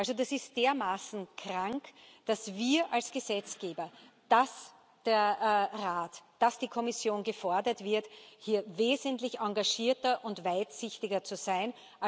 Also, das ist dermaßen krank, dass wir als Gesetzgeber, dass der Rat, dass die Kommission gefordert sind, hier wesentlich engagierter und weitsichtiger zu sein.